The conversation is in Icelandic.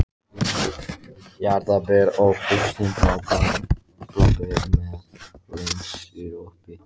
Jarðarber og bústin bláber með hlynsírópi